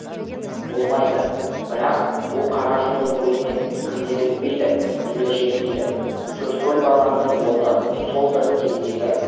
болмайды бірақ бұл қара жолдың бойымен кімдер өтпейді нелер жетпейді төрткүл базарының орны сол бір кездегі